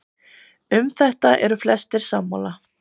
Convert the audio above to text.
Um þetta eru flestir sammála.